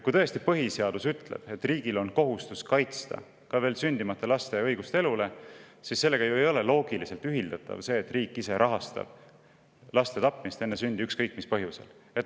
Kui tõesti põhiseadus ütleb, et riigil on kohustus kaitsta ka veel sündimata laste õigust elule, siis sellega ei ole ju loogiliselt ühildatav see, et riik ise rahastab laste tapmist enne sündi, ükskõik mis põhjusel.